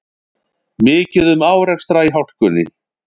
Mikið um árekstra í hálkunni